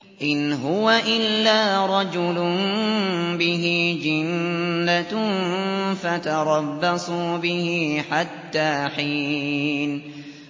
إِنْ هُوَ إِلَّا رَجُلٌ بِهِ جِنَّةٌ فَتَرَبَّصُوا بِهِ حَتَّىٰ حِينٍ